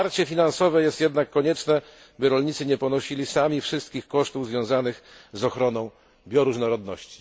Wsparcie finansowe jest jednak koniecznie, by rolnicy nie ponosili sami wszystkich kosztów związanych z ochroną bioróżnorodności.